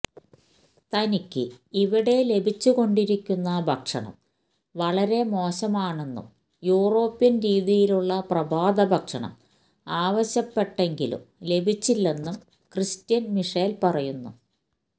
തനിക്ക് ഇവിടെ ലഭിച്ചു കൊണ്ടിരിക്കുന്ന ഭക്ഷണം വളരെ മോശമാണെന്നും യൂറോപ്യന് രീതിയിലുള്ള പ്രഭാതഭക്ഷണം ആവശ്യപ്പെട്ടെങ്കിലും ലഭിച്ചില്ലെന്നും ക്രിസ്റ്റ്യന് മിഷേല് പറയുന്നു